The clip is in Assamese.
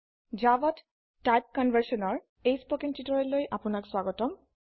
জাভাতে টাইপ Conversionৰ কথ্য টিউটোৰিয়েল আপনাক স্বাগতম